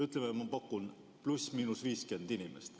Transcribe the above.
Ütleme, ma pakun, et ±50 inimest.